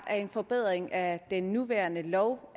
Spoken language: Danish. er en forbedring af den nuværende lov